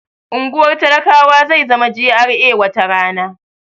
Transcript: Unguwar talakawa zai zama GRA wata rana